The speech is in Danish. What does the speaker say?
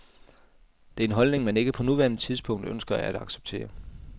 Det er en holdning, man ikke på nuværende tidspunkt ønsker at acceptere.